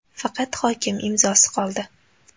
Faqat hokim imzosi qoldi.